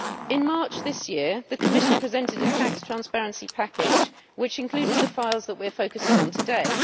In March this year the Commission presented a tax transparency package, which included the files that we are focussing on today.